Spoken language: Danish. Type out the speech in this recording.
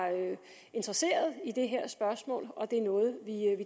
interesseret i det her spørgsmål og det er noget vi